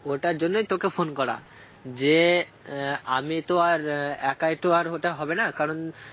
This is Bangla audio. ওটার জন্যই তোকে phone করা যে আহ আমি তো আর আহ একাই তো আর ওটা হবে না কারণ